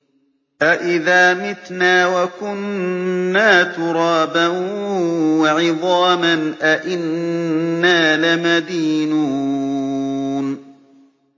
أَإِذَا مِتْنَا وَكُنَّا تُرَابًا وَعِظَامًا أَإِنَّا لَمَدِينُونَ